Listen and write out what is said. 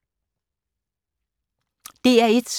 DR1